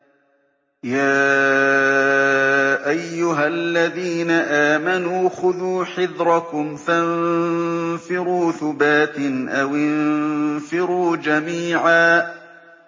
يَا أَيُّهَا الَّذِينَ آمَنُوا خُذُوا حِذْرَكُمْ فَانفِرُوا ثُبَاتٍ أَوِ انفِرُوا جَمِيعًا